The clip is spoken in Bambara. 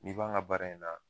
N'i b'an ga baara in na